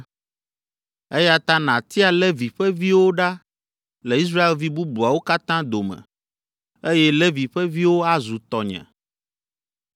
Eya ta nàtia Levi ƒe viwo ɖa le Israelvi bubuawo katã dome, eye Levi ƒe viwo azu tɔnye.